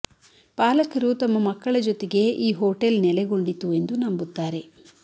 ಪಾಲಕರು ತಮ್ಮ ಮಕ್ಕಳ ಜೊತೆಗೆ ಈ ಹೋಟೆಲ್ ನೆಲೆಗೊಂಡಿತು ಎಂದು ನಂಬುತ್ತಾರೆ